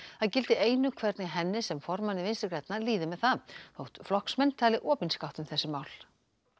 það gildi einu hvernig henni sem formanni Vinstri grænna líði með það þótt flokksmenn tali opinskátt um þessi mál